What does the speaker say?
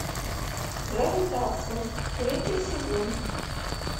гравитация третий сезон